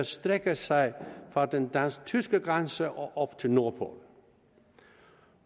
strækker sig fra den dansk tyske grænse og op til nordpolen